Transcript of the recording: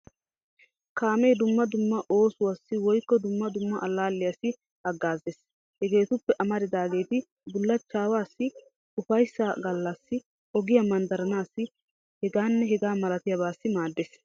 Kaamee dumma dumma oosuwassi woykko dumma dumma allaalliyassi hagaazees. Hegeetuppe amarridaageeti, bullachchaassi, ufayssa gallaassi, ogiya manddaranaasi hegaanne hegaa malatiyabaassi maaddees.